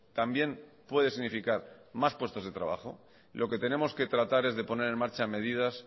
también puede significar más puestos de trabajo lo que tenemos que tratar es de poner en marcha medidas